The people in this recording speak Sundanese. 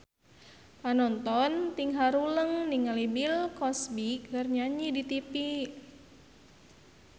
Panonton ting haruleng ningali Bill Cosby keur nyanyi di tipi